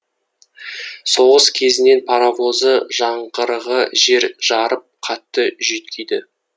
соғыс кезінің паровозы жаңғырығы жер жарып қатты жүйткиді